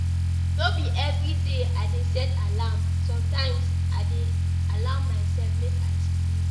No be everyday I dey set alarm, sometimes I dey allow mysef make I sleep.